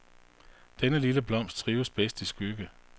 Denne lille blomst trives bedst i skygge.